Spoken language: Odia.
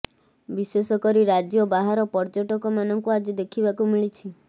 ବିଶେଷ କରି ରାଜ୍ୟ ବାହାର ପର୍ଯ୍ୟଟକମାନଙ୍କୁ ଆଜି ଦେଖିବାକୁ ମିଳିଛି